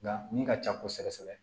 Nka min ka ca kosɛbɛ kosɛbɛ